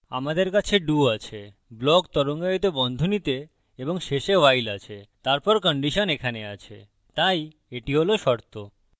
আমাদের কাছে do আছে block তরঙ্গায়িত বন্ধনীতে এবং শেষে while আছে তারপর condition এখানে আছে তাই এটি হল শর্ত